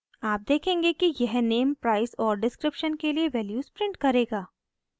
आप देखेंगे कि यह name price और description के लिए वैल्यूज़ प्रिंट करेगा